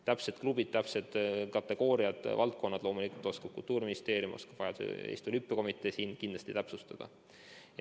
Täpsed klubid, täpsed kategooriad ja valdkonnad loomulikult oskab Kultuuriministeerium ja vajaduse korral Eesti Olümpiakomitee kindlasti öelda.